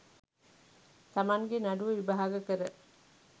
තමන්ගේ නඩුව විභාග කර